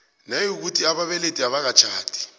nayikuthi ababelethi abakatjhadi